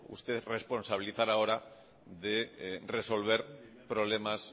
usted que responsabilizar ahora de resolver problemas